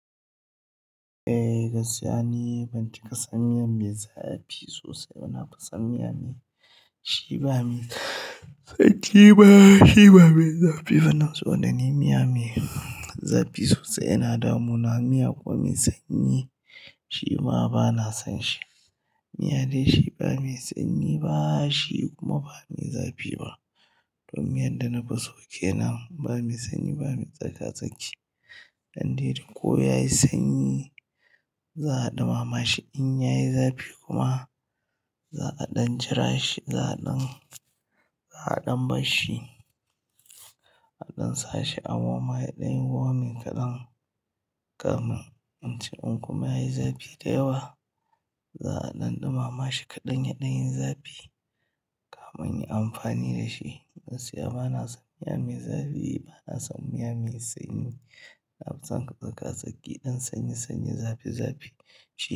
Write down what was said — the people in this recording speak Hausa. Eh, gaskiya ni ban cika san miya mai zafi sosai ba. Na fi san miya mai shiba me sanyi ba, shi ba mai zafi bana so da ni miya mai zafi sosai. Na damu na miya ko mai sanyi shima bana son shi. Miya dai shiba mai sanyi ba shi kuma ba mai zafi ba. To miyan da na fi so kenan ba mai sanyi ba mai tsaka-tsaki. Dan dai ko ya yi sanyi za a ɗumama shi in ya yi zafi kuma za a ɗan jira shi, za a ɗan, za a ɗan ba shi, a ɗan sa shi. A warmer ya dan yi warming kaɗan kami in ci in kuma yi zafi da yawa za a ɗan ɗumama shi kaɗan ya ɗan yi zafi kami in yin amfani da shi. Gaskiya bana son miya mai zafi bana son miya mai sanyi. Na fi son tsaka-tsaki, ɗin sanyi sanyi zafi zafi.